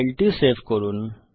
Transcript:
ফাইলটি সেভ করুন